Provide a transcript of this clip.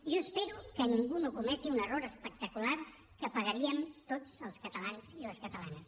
jo espero que ningú no cometi un error espectacular que pagaríem tots els catalans i les catalanes